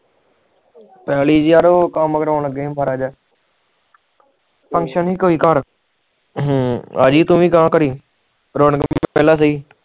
ਪੱਲੀ ਯਾਰ ਕਾਮ ਕਰਾਉਣ ਲਗੇ ਆ ਘਰ Function ਸੀ ਘਰ ਕੋਈ ਹਮ ਅਵਜੀ ਘਰ ਤੂੰ ਵੀ ਘੜੀ ਰੌਣਕ ਮੇਲਾ ਸਹੀ